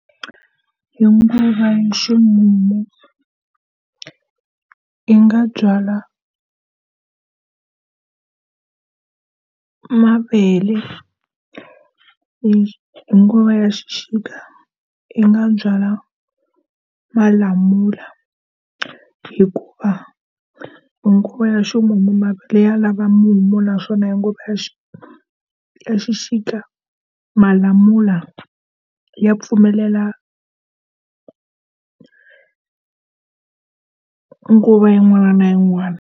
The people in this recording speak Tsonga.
Hi nguva ya ximumu i nga byala mavele, hi hi nguva ya xixika i nga byala malamula hikuva hi nguva ya ximumu mavele ya lava mumu naswona nguva ya ya xixika malamula ya pfumelela nguva yin'wana na yin'wana.